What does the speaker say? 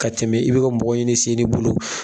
Ka tɛmɛ i be ka mɔgɔ ɲin'i sen n'i bolo